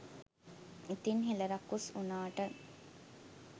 ඉතිං හෙළ රකුස් වුනාට